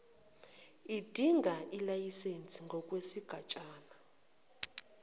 edinga ilayisense ngokwesigatshana